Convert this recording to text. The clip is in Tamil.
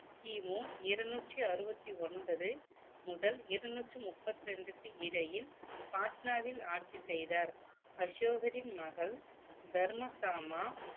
கிமு இருநூற்றி அறுபத்தி ஒன்பது முதல் இருநூற்று முப்பத்தி ரெண்டுக்கு இடையில் பாட்னாவில் ஆட்சி செய்தார் அசோகரின் மகள் தர்மகாமா